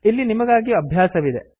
ಇಲ್ಲಿ ನಿಮಗಾಗಿ ಅಭ್ಯಾಸವಿದೆ